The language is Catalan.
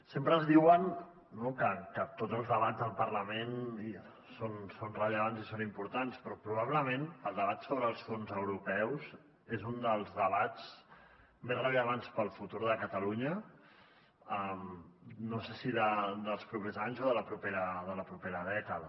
sempre ens diuen que tots els debats al parlament són rellevants i són importants però probablement el debat sobre els fons europeus és un dels debats més rellevants per al futur de catalunya no sé si dels propers anys o de la propera dècada